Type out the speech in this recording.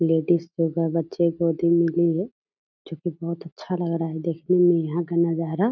Ladies लोग हैं बच्चे गोदी में लिए हैं जो की बहुत अच्छा लग रहा है देखने में यहाँ का नजारा।